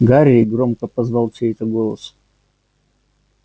гарри громко позвал чей-то голос